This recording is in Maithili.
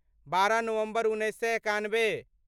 बारह नवम्बर उन्नैस सए एकानबे